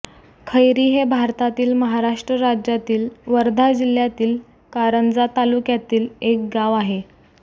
खैरी हे भारतातील महाराष्ट्र राज्यातील वर्धा जिल्ह्यातील कारंजा तालुक्यातील एक गाव आहे